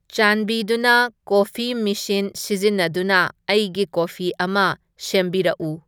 ꯆꯥꯟꯕꯤꯗꯨꯅ coffee machine ꯁꯤꯖꯤꯟꯅꯗꯨꯅ ꯑꯩꯒꯤ ꯀꯣꯐꯤ ꯑꯃ ꯁꯦꯝꯕꯤꯔꯛꯎ